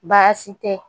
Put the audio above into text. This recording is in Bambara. Baasi tɛ